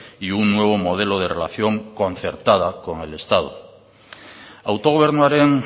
y un nuevo modelo de relación concertada con el estado autogobernuaren